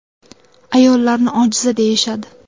Ayollarni ojiza deyishadi.